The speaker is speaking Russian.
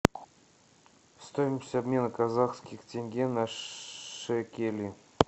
стоимость обмена казахских тенге на шекели